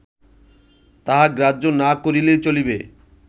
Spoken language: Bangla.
তাহা গ্রাহ্য না করিলেই চলিবে